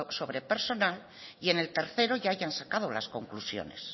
sobre personal y en el tercero ya hayan sacado las conclusiones